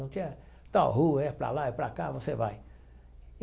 Não tinha tal rua, é para lá, é para cá, você vai.